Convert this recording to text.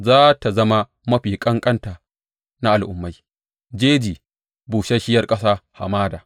Za tă zama mafi ƙanƙanta na al’ummai, jeji, busasshiyar ƙasa, hamada.